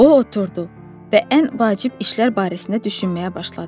O oturdu və ən vacib işlər barəsində düşünməyə başladı.